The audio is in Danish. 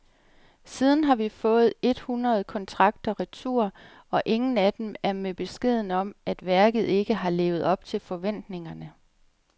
Siden har vi fået under et hundrede kontrakter retur, og ingen af dem er med beskeden om, at værket ikke har levet op til forventningerne.